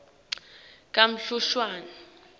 kamhlushwa